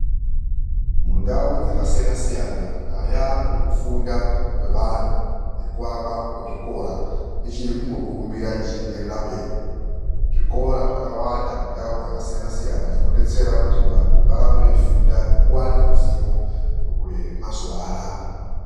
Mundau dzakasiyana siyana nyaya yekufunda kwevantu nekuvakwa kwezvikora ichiri kungokurumbira ichienderera mberi. Zvikora zvakawanda mundau dzakasiyana siyana zvinodetsera , kuti vandu varambe veifunda nekuva neruzivo rwemazuva anaa